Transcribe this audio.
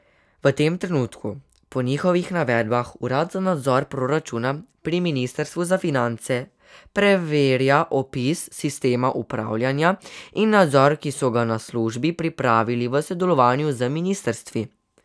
V tem trenutku po njihovih navedbah urad za nadzor proračuna pri ministrstvu za finance preverja opis sistema upravljanja in nadzora, ki so ga na službi pripravili v sodelovanju z ministrstvi.